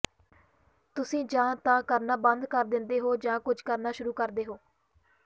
ਤੁਸੀਂ ਜਾਂ ਤਾਂ ਕਰਨਾ ਬੰਦ ਕਰ ਦਿੰਦੇ ਹੋ ਜਾਂ ਕੁਝ ਕਰਨਾ ਸ਼ੁਰੂ ਕਰਦੇ ਹੋ